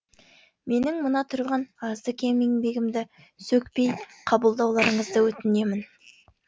менің мына тұрған азды кем еңбегімді сөкпей қабылдауларыңызды өтінемін